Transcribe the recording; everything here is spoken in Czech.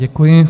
Děkuji.